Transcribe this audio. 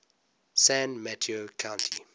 san mateo county